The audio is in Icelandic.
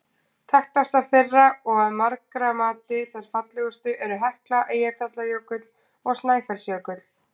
Þekktastar þeirra og að margra mati þær fallegustu eru Hekla, Eyjafjallajökull og Snæfellsjökull.